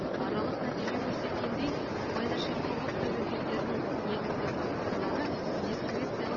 аралық нәтиже көрсеткендей сыбайлас жемқорлық тәуекелдерінің негізгі факторлары дискрециялық